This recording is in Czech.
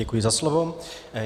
Děkuji za slovo.